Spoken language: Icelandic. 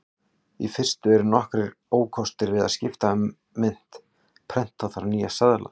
Í fyrstu eru nokkrir ókostir við að skipta um mynt: Prenta þarf nýja seðla.